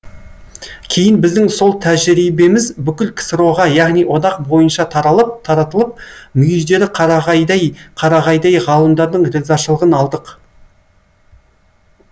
кейін біздің сол тәжірибеміз бүкіл ксро ға яғни одақ бойынша таратылып мүйіздері қарағайдай қарағайдай ғалымдардың ризашылығын алдық